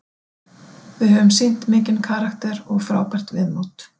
Við höfum sýnt mikinn karakter og frábært viðmót.